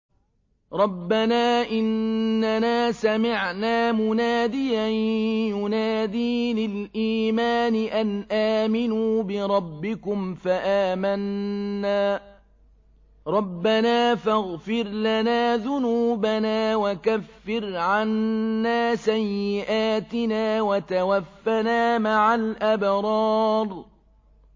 رَّبَّنَا إِنَّنَا سَمِعْنَا مُنَادِيًا يُنَادِي لِلْإِيمَانِ أَنْ آمِنُوا بِرَبِّكُمْ فَآمَنَّا ۚ رَبَّنَا فَاغْفِرْ لَنَا ذُنُوبَنَا وَكَفِّرْ عَنَّا سَيِّئَاتِنَا وَتَوَفَّنَا مَعَ الْأَبْرَارِ